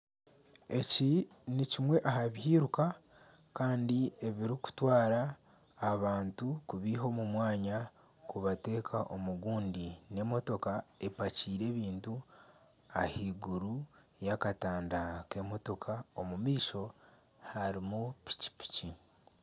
Eki nikimwe aha byiruka kandi ebirikutwara abantu kubiiha omu mwanya kubateeka omu gundi n'emotoka epakiire ebintu ah'iguru yakatanda k'emitoka. Omu maisho harimu piki piki.